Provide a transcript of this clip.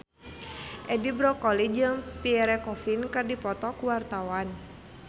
Edi Brokoli jeung Pierre Coffin keur dipoto ku wartawan